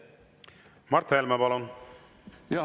Mart Helme, palun!